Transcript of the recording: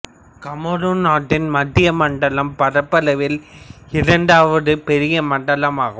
Cameron நாட்டின் மத்திய மண்டலம் பரப்பளவில் இரண்டாவது பெரிய மண்டலமாகும்